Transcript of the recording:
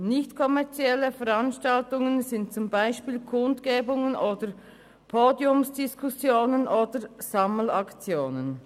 Nicht-kommerzielle Veranstaltungen sind zum Beispiel Kundgebungen oder Podiumsdiskussionen sowie Sammelaktionen.